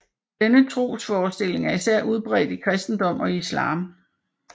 Denne trosforestilling er især udbredt i kristendom og islam